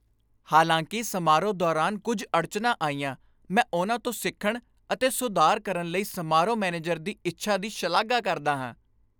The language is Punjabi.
ਹਾਲਾਂਕਿ ਸਮਾਰੋਹ ਦੌਰਾਨ ਕੁੱਝ ਅੜਚਣਾਂ ਆਈਆਂ, ਮੈਂ ਉਨ੍ਹਾਂ ਤੋਂ ਸਿੱਖਣ ਅਤੇ ਸੁਧਾਰ ਕਰਨ ਲਈ ਸਮਾਰੋਹ ਮੈਨੇਜਰ ਦੀ ਇੱਛਾ ਦੀ ਸ਼ਲਾਘਾ ਕਰਦਾ ਹਾਂ।